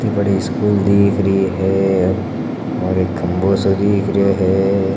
इत्ती बड़ी स्कूल